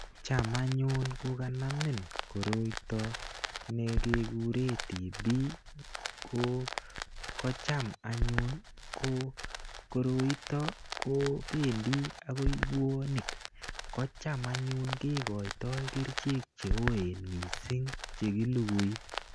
Cham anyun kokanamin koroito ne kekure TB, ko kocham anyun ko koroitok kobendi akoi buonik. Kocham anyun kekoitoi kerichek cheoen missing, chekilugui.